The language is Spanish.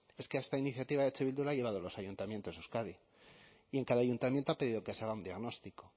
es que esta iniciativa eh bildu la ha llevado a los ayuntamientos de euskadi y en cada ayuntamiento ha pedido que se haga un diagnóstico